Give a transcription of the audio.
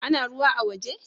Ana ruwa a' woje?